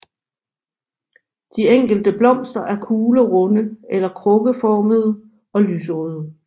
De enkelte blomster er kuglerunde eller krukkeformede og lyserøde